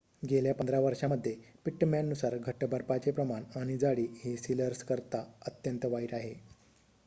गेल्या 15 वर्षांमध्ये पिट्टमॅन नुसार घट्ट बर्फाचे प्रमाण आणि जाडी ही सिलर्स करिता अत्यंत वाईट आहे